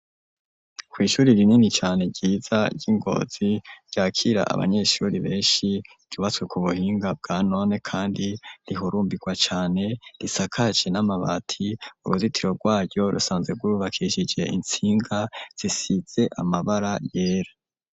Kw'ishuri rinini cane ryiza ryi Ngozi ryakira abanyeshuri beshi ryubatswe ku buhinga bwa none kandi rihurumbirwa cane risakaje n'amabati uruzitiro rwayo rusanzwe rwubakishije intsinga zisize amabara yera.